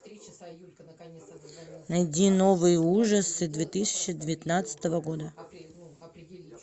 найди новые ужасы две тысячи девятнадцатого года